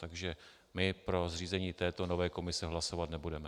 Takže my pro zřízení této nové komise hlasovat nebudeme.